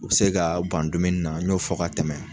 U se ka ban dumuni na n y'o fɔ ka tɛmɛ.